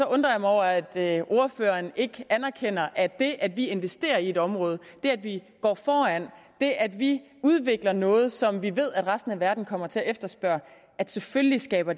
undrer jeg mig over at ordføreren ikke anerkender at det at vi investerer i et område og det at vi går foran og det at vi udvikler noget som vi ved resten af verden kommer til at efterspørge selvfølgelig skaber